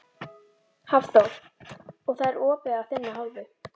Hafþór: Og það er opið af þinni hálfu?